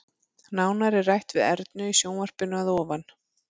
Nánar er rætt við Ernu í sjónvarpinu að ofan.